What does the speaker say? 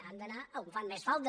han d’anar on fan més falta